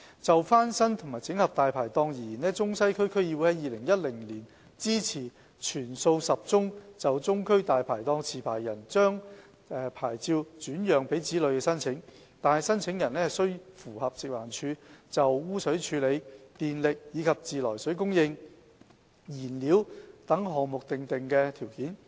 就翻新和整合"大牌檔"而言，中西區區議會在2010年支持全數10宗就中區"大牌檔"持牌人將牌照轉讓給子女的申請，但申請人須符合食環署就污水處理、電力及自來水供應、燃料等項目訂定的條件。